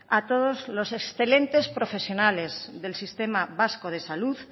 a todos los excelentes profesionales del sistema vasco de salud